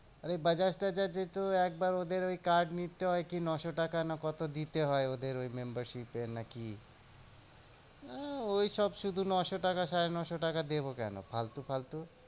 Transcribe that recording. আমি বাজাজ তাজাজ এর তো একবার ওদের ওই কাজ নিতে হয় কি ন শো টাকা না কত দিতে হয়। ওদের ওই membership এর না কি? হ্যাঁ ঐসব শুধু ন শো টাকা সাড়ে ন শো টাকা দেব দেব কেন ফালতু ফালতু?